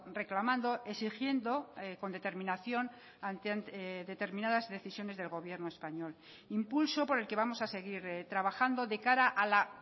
reclamando exigiendo con determinación determinadas decisiones del gobierno español impulso por el que vamos a seguir trabajando de cara a la